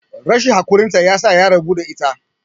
rashin haƙurinta ya sa ya rabu da ita